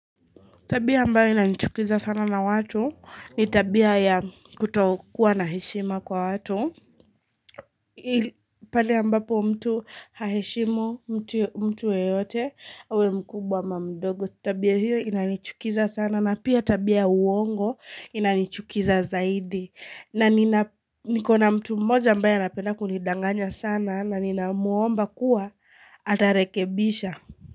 Tabia ambayo inanchukiza sana na watu ni tabia ya kutokuwa na heshima kwa watu pale ambapo mtu haheshimu mtu mtu yeyote awe mkubwa ama mdogo. Tabia hiyo inanchukiza sana na pia tabia uongo inanchukiza zaidi. Na nina niko na mtu mmoja ambaye anapenda kunidanganya sana na ninamwomba kuwa atarekebisha.